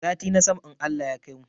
Sati na sama in Allah ya kaimu